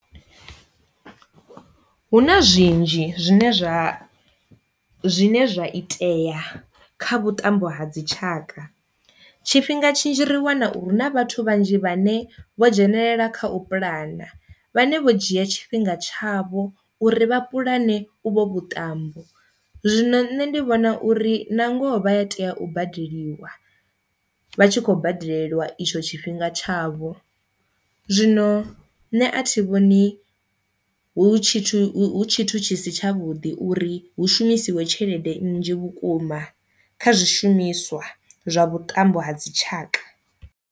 Hu na zwinzhi zwine zwa zwine zwa itea kha vhuṱambo ha dzi tshaka, tshifhinga tshinzhi ri wana uri hu na vhathu vhanzhi vhane vho dzhenelela kha u pulana vhane vho dzhia tshifhinga tshavho uri vha pulane u vho vhuṱambo. Zwino nṋe ndi vhona uri na ngoho vha a tea u badeliwa vha tshi kho badelelwa itsho tshifhinga tshavho, zwino nṋe a thi vhoni hu tshithu hu tshithu tshi si tshavhuḓi uri hu shumisiwe tshelede nnzhi vhukuma kha zwishumiswa zwa vhuṱambo ha dzi tshaka.